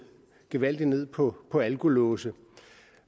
gevaldig ned på på alkolåse